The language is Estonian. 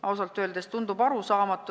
Ausalt öeldes tundub see arusaamatu.